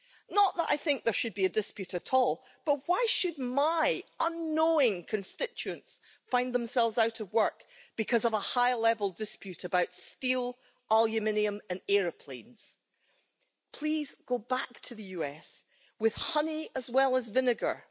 Not that I think there should be a dispute at all, but why should my unknowing constituents find themselves out of work because of a high-level dispute about steel, aluminium and aeroplanes? Please go back to the US with honey, as well as vinegar.